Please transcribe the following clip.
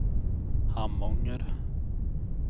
Harmånger